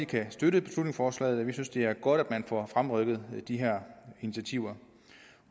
kan støtte beslutningsforslaget vi synes at det er godt at man får fremrykket de her initiativer